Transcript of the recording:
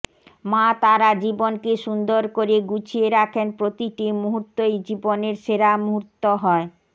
মা তারা জীবনকে সুন্দর করে গুছিয়ে রাখেন প্রতিটি মুহূর্তই জীবনের সেরা মুহূর্ত হয়